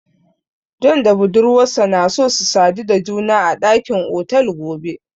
John da budurwarsa na so su sadu da juna a dakin otel gobe.